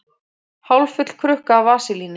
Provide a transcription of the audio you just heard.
Hálffull krukka af vaselíni.